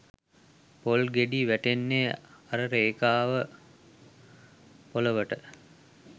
පොල් ගෙඩි වැටෙන්නේ අර රේඛාව පොළොවට